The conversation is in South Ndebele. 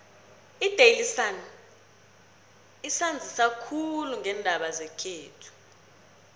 idaily sun isanzisa khulu ngeendaba zekhethu